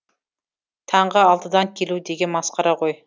таңғы алтыдан келу деген масқара ғой